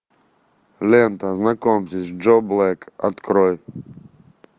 лента знакомьтесь джо блэк открой